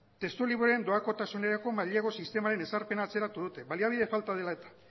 testuliburuen doakotasunerako mailegu sistemaren ezarpena atzeratu dute baliabide falta dela eta